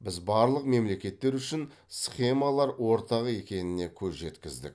біз барлық мемлекеттер үшін схемалар ортақ екеніне көз жеткіздік